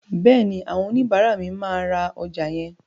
Bẹ́ẹ̀ni, àwọn oníbàárà mi máa ra ọjà yẹn.